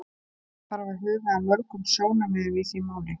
Það þarf að huga að mörgum sjónarmiðum í því máli.